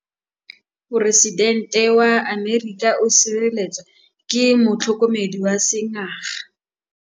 Poresitêntê wa Amerika o sireletswa ke motlhokomedi wa sengaga.